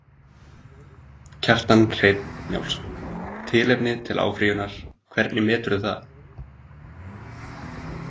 Kjartan Hreinn Njálsson: Tilefni til áfrýjunar, hvernig meturðu það?